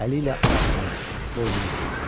Əli ilə alnını, boynunu sildi.